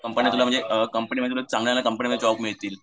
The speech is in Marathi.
कंपनी तुला म्हणजे चांगल्या चांगल्या कंपनीत जॉब मिळतील.